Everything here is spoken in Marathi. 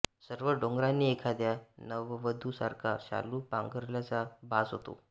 सर्व डोंगरांनी एखाद्या नववधूसारखा शालू पांघरल्याचा भास होतो